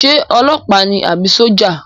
Ṣé ọlọpa ni àbí sójà?